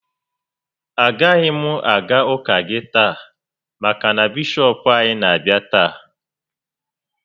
Agaghị m aga ụka gị taa maka na Bishọp anyị na-abịa taa